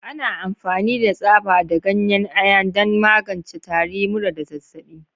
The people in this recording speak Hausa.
Ana amfani da tsaba da ganyen Ayan don magance tari, mura, da zazzabi.